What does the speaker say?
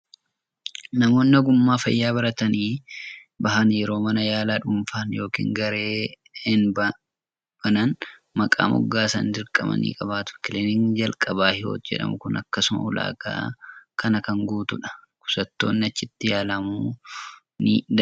Namoonni ogummaa fayyaa baratanii bahan yeroo mana yaalaa dhuunfaan yookiin gareen banan maqaa moggaasan dirqama ni qabaatu. Kilinikni Jalqabaa Hiwoot jedhamu kun akkasuma ulaagaa kana kan guutudha. Dhukkubsattoonni achitti yaalamuu ni danda'u.